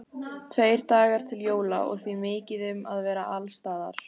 Tveir dagar voru til jóla og því mikið um að vera alls staðar.